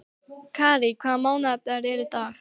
Kárí, hvaða mánaðardagur er í dag?